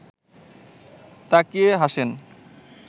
তাকিয়ে হাসেন